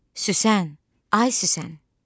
"Süsən, ay Süsən!"